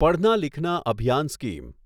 પઢના લિખના અભિયાન સ્કીમ